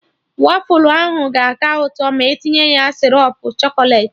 Wafụlụ ahụ ga-aka ụtọ ma etinye ya sịrọp chọkọlet